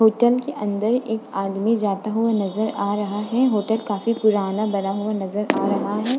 Hotel के अदंर एक आदमी जाता हुआ नजर आ रहा है। होटल काफी पुराना बना हुआ नजर आ रहा है।